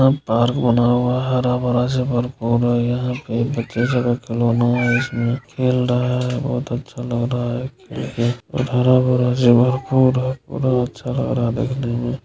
park बना हुआ हैं हरा-भरा जेवर पहना है यहां पर----